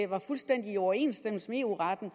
var fuldstændig i overensstemmelse med eu retten